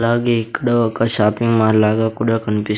అలాగే ఇక్కడ ఒక షాపింగ్ మాల్ లాగా కూడా కన్పిస్--